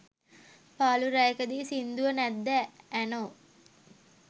පාලු රැයකදී සින්දුව නැද්ද ඇනෝ.